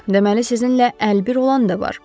Deməli sizinlə əlbir olan da var.